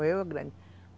Morreu grande.